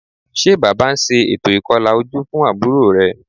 Ṣé Bàbá ń ṣe ètò ìkọlà ojú fún àbúrò rẹ̀?